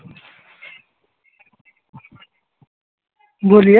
বলি হ্যা